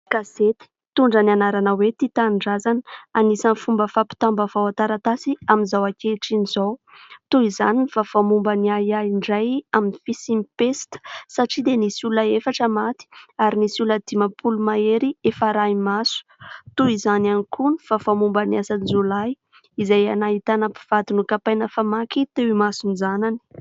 Gazety mitondra ny anarana hoe tia tanindrazana anisan'ny fomba fampitam-baovao an-taratasy amin'izao ankehitriny izao toy izany ny vaovao momba ny ahiahy indray amin'ny fisian'ny pesta satria dia nisy olona efatra maty ary nisy olona dimampolo mahery efa arahi-maso toy izany ihany koa ny vaovao momba ny asan-jiolahy izay nahitana mpivady nokapaina famaky teo imason-janany